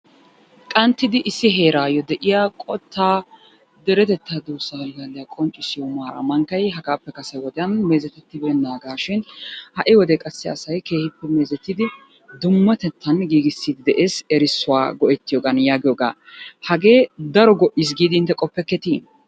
Qanttidi issi heerayyo de'iyaa qottaa deretetta duussa allaaliyaa qonccissiyo mara mankkay hagappe kase wodiyaan meezetettibeenagashin ha'i wodiyaan qassi asay keehippe meezetidi dummatettan giigisside de'ees erissuwa go'ettiyoogan yaagiyooga. Hagee daro go''ees giidi intte qoppekketti?